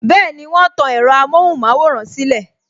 Bẹẹni, wọn tan ẹ̀rọ amohun maworan silẹ